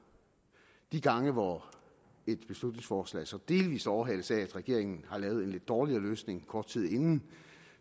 de gange hvor et beslutningsforslag så delvis overhales af at regeringen har lavet en lidt dårligere løsning kort tid inden